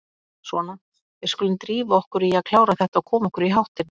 Svona, við skulum drífa okkur í að klára þetta og koma okkur í háttinn.